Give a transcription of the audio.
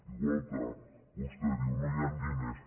igual que vostè diu no hi han diners